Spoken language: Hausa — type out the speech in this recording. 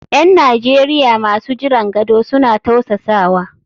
’Yan Najeriya masu jiran gado suna tausasawa.